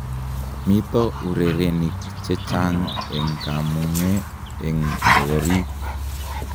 Mito urerenik che chang eng kamung'e eng koriik.